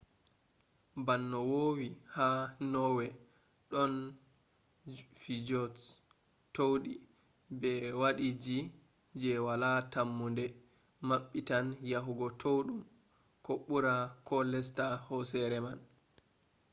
ban no voowi ha norway ɗon fjords towɗi be waadiiji je wala tammunde maɓɓitan yahugo towɗum ko ɓura ko lesta hooseere man